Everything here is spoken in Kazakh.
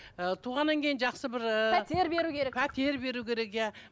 ы туғаннан кейін жақсы бір ыыы пәтер беру керек пәтер беру керек иә